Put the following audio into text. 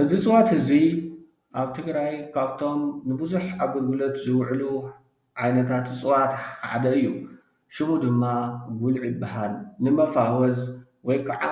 እዚ እፅዋት እዚ ኣብ ትግራይ ካብቶም ንቡዝሕ ኣገልግሎት ዝውዕሉ ዓይነታት እፅዋት ሓደ እዩ፡፡ ሽሙ ድማ ጉልዒ ይባሃል፡፡ ንሞፋወዝ ወይ ከዓ